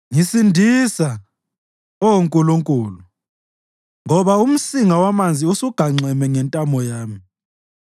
Ngisindisa, Oh Nkulunkulu, ngoba umsinga wamanzi usugamenxe ngentamo yami.